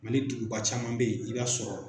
Mali duguba caman bɛ ye i b'a sɔrɔ